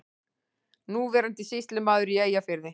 Núverandi sýslumaður í Eyjafirði.